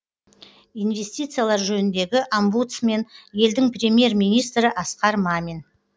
инвестициялар жөніндегі омбудсмен елдің премьер министрі асқар мамин